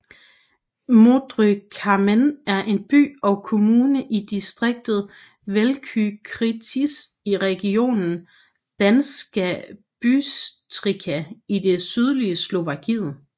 Modrý Kameň er en by og kommune i distriktet Veľký Krtíš i regionen Banská Bystrica i det sydlige Slovakiet